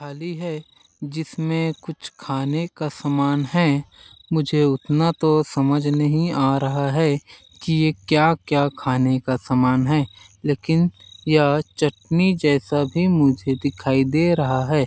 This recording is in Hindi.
थाली है जिसमें कुछ खाने का समान है मुझे उतना तो समझ नहीं आ रहा है कि ये क्या -क्या खाने का समान है लेकिन यह चटनी जैसा भी मुझे दिखाई दे रहा है।